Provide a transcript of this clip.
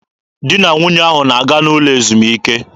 Di na nwunye ahụ na-aga n'ụlọ ezumike.